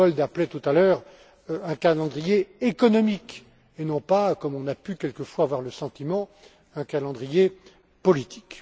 Giegold appelait tout à l'heure un calendrier économique, et non pas, comme on a pu quelquefois en avoir le sentiment, un calendrier politique.